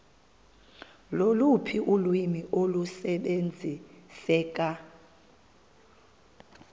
loluphi ulwimi olusebenziseka